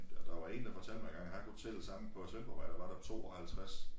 Der var en der fortalte mig engang han kunne tælle sammen på Sevndborgvej der var der 52